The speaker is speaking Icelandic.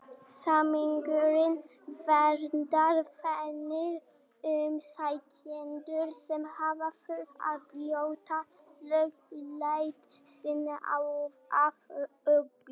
Samningurinn verndar þannig umsækjendur sem hafa þurft að brjóta lög í leit sinni að öryggi.